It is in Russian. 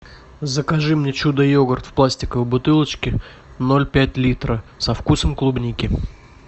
закажи мне чудо йогурт в пластиковой бутылочке ноль пять литра со вкусом клубники